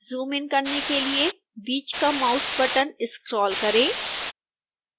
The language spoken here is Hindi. जूमइन करने के लिए बीच का माउस बटन स्क्रोल करें